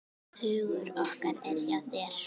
Hugur okkar er hjá þér.